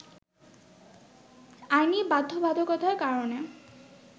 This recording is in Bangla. আইনি বাধ্যবাধকতার কারণে